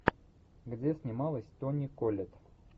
где снималась тони коллетт